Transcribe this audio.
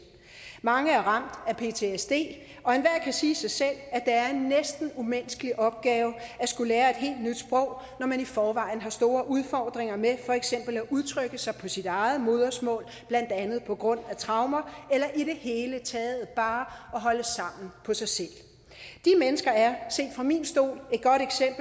mange er ramt af ptsd og enhver kan sige sig selv at er en næsten umenneskelig opgave at skulle lære et helt nyt sprog når man i forvejen har store udfordringer med for eksempel at udtrykke sig på sit eget modersmål blandt andet på grund af traumer eller i det hele taget bare at holde sammen på sig selv de mennesker er set fra min stol